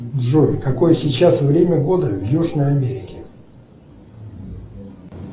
джой какое сейчас время года в южной америке